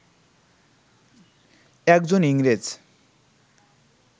একজন ইংরেজ